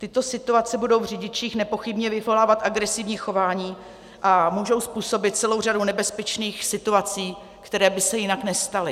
Tyto situace budou v řidičích nepochybně vyvolávat agresivní chování a můžou způsobit celou řadu nebezpečných situací, které by se jinak nestaly.